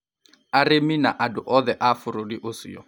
arĩmi na andũ othe a bũrũri ũcio.